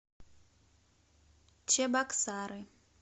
чебоксары